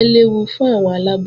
Ìbẹ́pẹ léwu fún àwọn aláboyún